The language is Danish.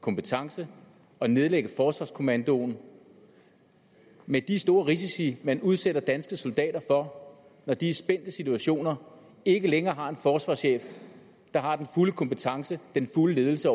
kompetence og nedlægge forsvarskommandoen med de store risici man udsætter danske soldater for når de i spændte situationer ikke længere har en forsvarschef der har den fulde kompetence den fulde ledelse